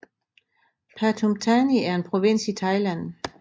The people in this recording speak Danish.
Pathum Thani er en provins i Thailand